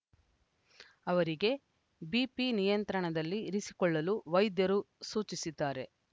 ಅವರಿಗೆ ಬಿಪಿ ನಿಯಂತ್ರಣದಲ್ಲಿ ಇರಿಸಿಕೊಳ್ಳಲು ವೈದ್ಯರು ಸೂಚಿಸಿದ್ದಾರೆ